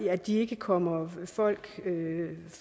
at de ikke kommer folk